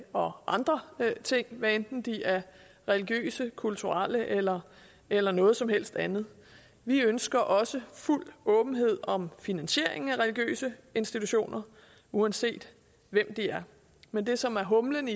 og andre ting hvad enten de er religiøse kulturelle eller eller noget som helst andet vi ønsker også fuld åbenhed om finansieringen af religiøse institutioner uanset hvem de er men det som er humlen